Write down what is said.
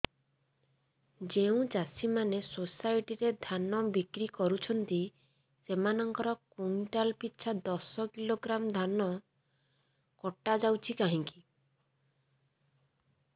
ଯେଉଁ ଚାଷୀ ମାନେ ସୋସାଇଟି ରେ ଧାନ ବିକ୍ରି କରୁଛନ୍ତି ସେମାନଙ୍କର କୁଇଣ୍ଟାଲ ପିଛା ଦଶ କିଲୋଗ୍ରାମ ଧାନ କଟା ଯାଉଛି କାହିଁକି